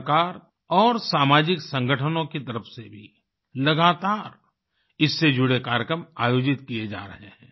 सरकार और सामाजिक संगठनों की तरफ से भी लगातार इससे जुड़े कार्यक्रम आयोजित किए जा रहे हैं